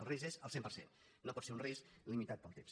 el risc és el cent per cent no pot ser un risc limitat pel temps